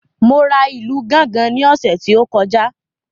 Mo ra ìlù gángan ní ọ̀sẹ̀ tí ó kọjá